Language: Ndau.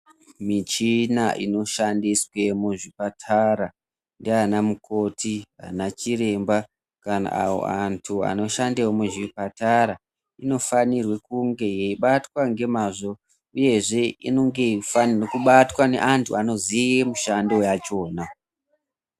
Muchina inoshandiswa my muzvipatara ndiana mukoti ana chiremba kana avo vantu vanoshandawo muzvipatara ino fanirwa kunge yeibatwa nemazvo uyezve inenge ichifanirwa kubatwa neantu Anoziva mishando yachona